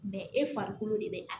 e farikolo de be a